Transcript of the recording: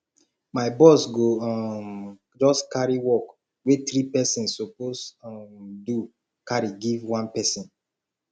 my boss go um just carry work wey three pesins suppose um do carry give one pesin